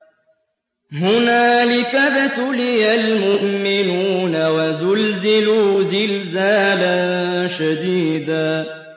هُنَالِكَ ابْتُلِيَ الْمُؤْمِنُونَ وَزُلْزِلُوا زِلْزَالًا شَدِيدًا